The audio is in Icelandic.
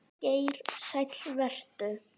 Geir Sæll vertu.